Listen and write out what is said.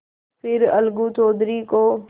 फिर अलगू चौधरी को